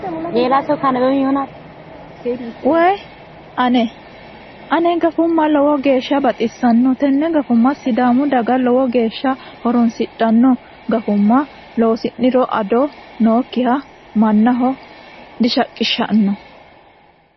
Woyi ane! Ane gafumma lowo geyaa baxisannoe. Tenne gafumma sidaamu daga lowo geya horonsidhanno. Gafumma loosi'niro ado nookkiha mannaho dishiqishi'nanni.